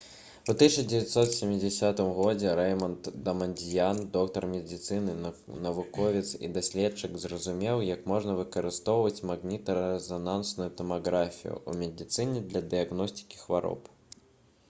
у 1970 г рэйманд дамандзьян доктар медыцыны навуковец і даследчык зразумеў як можна выкарыстоўваць магнітна-рэзанансную тамаграфію ў медыцыне для дыягностыкі хвароб